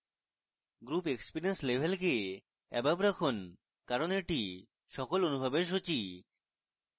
group experience level keep above রাখুন কারণ এটি সকল অনুভবের সূচী